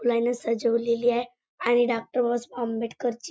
फुलांनी सजवलेली आहे आणि डॉक्टर बाबासाहेब आंबेडकर ची--